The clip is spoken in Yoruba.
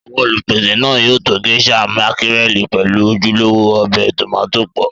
àwọn Olùpèsè náà to Géíṣà mákírẹ̀lì pẹ̀lú ojúlówó ọbẹ̀ tómátì pọ̀